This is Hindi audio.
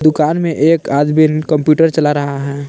में एक आदमीन कंप्यूटर चला रहा है।